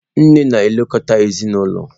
Nne na-elekọta ezinụlọ.